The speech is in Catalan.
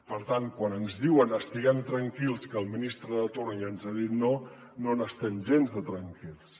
per tant quan ens diuen estiguem tranquils que el ministre de torn ja ens ha dit no no n’estem gens de tranquils